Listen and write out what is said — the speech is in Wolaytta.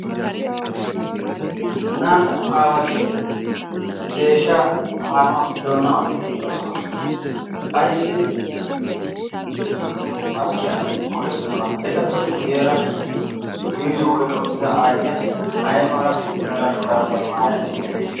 Naa"u aawati deeshsha paahanaw doonaa oyqqi uttidoosona. Ayssi maskkiyaa go"ettidona? Etappe guyyeera miizziyo oyqqa uttida aayyiya aymala mera shurabbiya maayade?